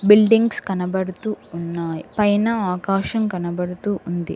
Buildings కనబడుతూ ఉన్నాయి పైన ఆకాశం కనబడుతూ ఉంది.